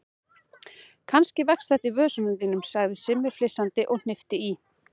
Kannski vex þetta í vösunum þínum sagði Simmi flissandi og hnippti í